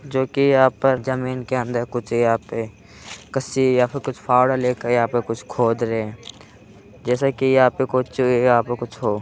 जो कि यहाँं पर जमीन के अन्दर कुछ यहाँं पे कस्सी या फिर कुछ फावड़ा लेके या पे कुछ खोद रहे हैं जैसा कि यहाँं पे कुछ या पे कुछ हो।